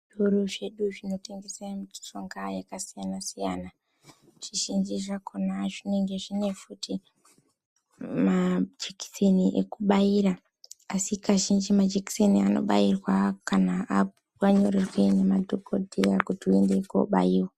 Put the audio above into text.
Zvitoro zvedu zvinotengeswa mishonga yakasiyana siyana zvizhinji zvakona zvinenge zvine futi majekiseni ekubaira asi kazhinji majekiseni aya anobairwa kana nemadhokodheya kuti tione kubaiwa.